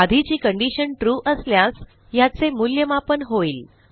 आधीची condition true असल्यास ह्याचे मूल्यमापन होईल